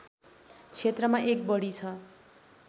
क्षेत्रमा १ बढी छ